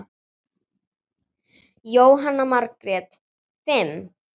Jóhanna Margrét: Fimm?